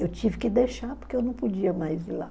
Eu tive que deixar, porque eu não podia mais ir lá.